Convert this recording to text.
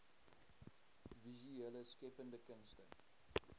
visuele skeppende kunste